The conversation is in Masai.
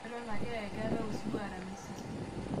eton ake aakeetae osiwuo aramisi